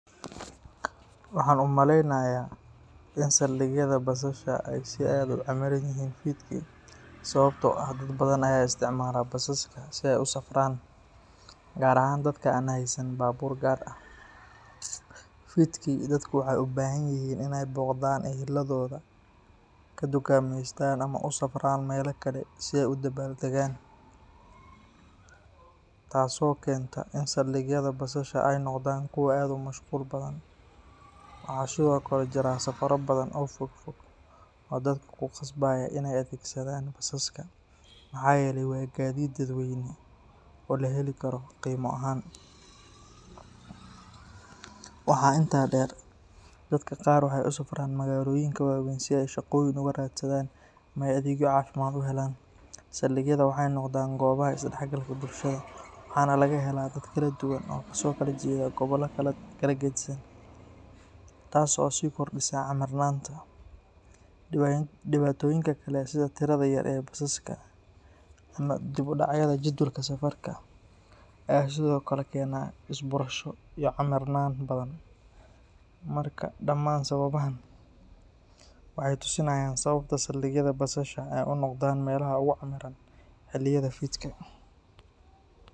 Waxaan u maleynayaa in saldhigyada basasha ay si aad ah u camiran yihiin fidkii sababtoo ah dad badan ayaa isticmaala basaska si ay u safraan, gaar ahaan dadka aan haysan baabuur gaar ah. Fidkii, dadku waxay u baahan yihiin inay booqdaan eheladooda, ka dukaameystaan ama u safraan meelo kale si ay u dabaaldegaan, taasoo keenta in saldhigyada basasha ay noqdaan kuwo aad u mashquul badan. Waxaa sidoo kale jira safarro badan oo fogfog oo dadka ku khasbaya inay adeegsadaan basaska maxaa yeelay waa gaadiid dadweyne oo la heli karo qiimo ahaan. Waxaa intaa dheer, dadka qaar waxay u safraan magaalooyinka waaweyn si ay shaqooyin uga raadsadaan ama ay adeegyo caafimaad u helaan. Saldhigyada waxay noqdaan goobaha is-dhexgalka bulshada, waxaana laga helaa dad kala duwan oo kasoo kala jeeda gobollo kala geddisan, taas oo sii kordhisa camirnaanta. Dhibaatooyinka kale sida tirada yar ee basaska ama dib u dhacyada jadwalka safarka ayaa sidoo kale keena is-buurasho iyo camirnaan badan. Marka, dhammaan sababahan waxay tusinayaan sababta saldhigyada basasha ay u noqdaan meelaha ugu camiran xilliyada fidka.